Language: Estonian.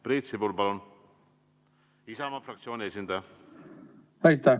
Priit Sibul, Isamaa fraktsiooni esindaja, palun!